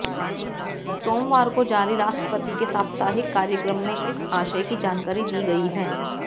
सोमवार को जारी राष्ट्रपति के साप्ताहिक कार्यक्रम में इस आशय की जानकारी दी गई है